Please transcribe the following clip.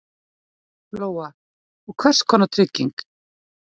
Lóa: Og hvers konar trygging?